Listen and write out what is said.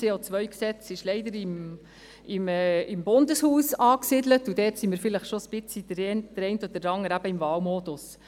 Das CO-Gesetz ist leider im Bundeshaus angesiedelt, und diesbezüglich befindet sich der eine oder andere vielleicht schon ein wenig im Wahlmodus.